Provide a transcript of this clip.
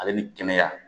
Ale ni kɛnɛya